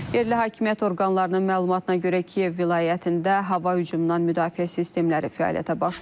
Yerli hakimiyyət orqanlarının məlumatına görə Kiyev vilayətində hava hücumundan müdafiə sistemləri fəaliyyətə başlayıb.